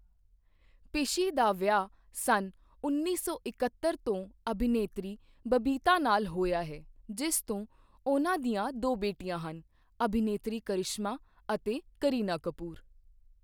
ਪਿਸ਼ੀ ਦਾ ਵਿਆਹ ਸੰਨ ਉੱਨੀ ਸੌ ਇੱਕਹੱਤਰ ਤੋਂ ਅਭਿਨੇਤਰੀ ਬਬੀਤਾ ਨਾਲ ਹੋਇਆ ਹੈ, ਜਿਸ ਤੋਂ ਉਹਨਾਂ ਦੀਆਂ ਦੋ ਬੇਟੀਆਂ ਹਨ, ਅਭਿਨੇਤਰੀ ਕਰਿਸ਼ਮਾ ਅਤੇ ਕਰੀਨਾ ਕਪੂਰ।